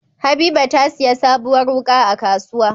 Habiba tasiya sabuwar wuka a kasuwa